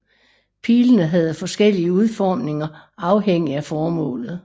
Pilene havde forskellige udformninger afhængig af formålet